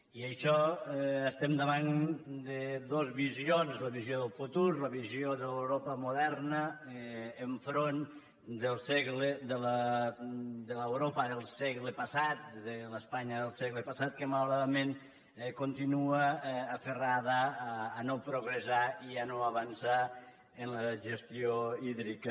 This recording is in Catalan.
i això estem davant de dos visions la visió del futur la visió de l’europa moderna enfront del segle de l’europa del segle passat de l’espanya del segle passat que malauradament continua aferrada a no progressar i a no avançar en la gestió hídrica